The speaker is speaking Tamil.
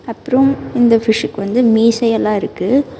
அப்புறம் இந்த ஃபிஷ்கு வந்து மீசை எல்லா இருக்கு.